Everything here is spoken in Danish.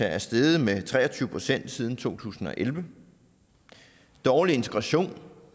er steget med tre og tyve procent siden to tusind og elleve dårlig integration